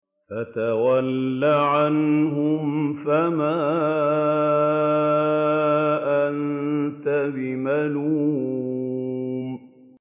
فَتَوَلَّ عَنْهُمْ فَمَا أَنتَ بِمَلُومٍ